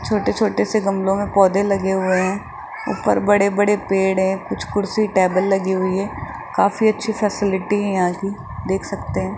छोटे छोटे से गमले में पौधे लगे हुए हैं ऊपर बड़े बड़े पेड़ है कुछ कुर्सी टेबल लगी हुई है काफी अच्छी फैसिलिटी है आप देख सकते है।